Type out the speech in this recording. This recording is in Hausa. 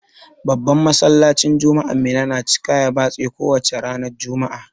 Babban Masallacin juma'an Minna na cika ya batse ko wace ranar juma'a.